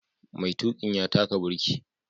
Maitukin ya taka birki.